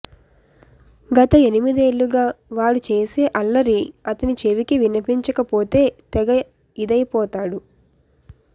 గత ఎనిమిదేళ్ళుగా వాడు చేసే అల్లరి అతని చెవికి వినిపించకపోతే తెగ యిదయిపోతాడు